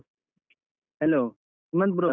Hello Sumanth bro .